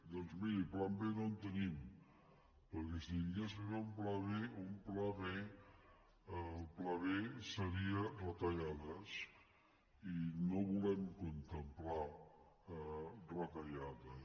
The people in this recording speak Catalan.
doncs miri pla b no en tenim perquè si hi hagués un pla b el pla b seria retallades i no volem contemplar retallades